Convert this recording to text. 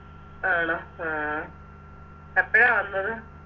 ആണോ ആ എപ്പഴാ വന്നത്